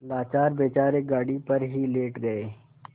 लाचार बेचारे गाड़ी पर ही लेट गये